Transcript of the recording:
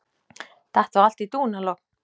Datt þá allt í dúnalogn.